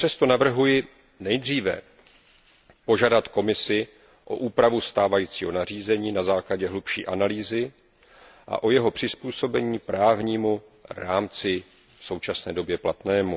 Přesto navrhuji nejdříve požádat Komisi o úpravu stávajícího nařízení na základě hlubší analýzy a o jeho přizpůsobení právnímu rámci v současné době platnému.